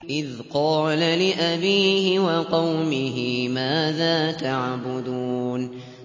إِذْ قَالَ لِأَبِيهِ وَقَوْمِهِ مَاذَا تَعْبُدُونَ